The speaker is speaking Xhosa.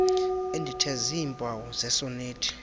endithe ziimpawu zesonethi